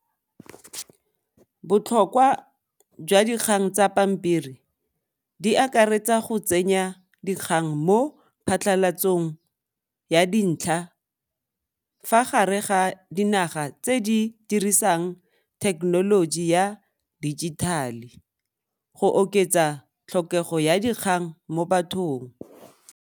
Botlhokwa jwa dikgang tsa pampiri di akaretsa go tsenya dikgang mo phatlhalatsong ya dintlha fa gare ga dinaga tse di dirisang technology ya dijithale go oketsa tlhokego ya dikgang mo bathong.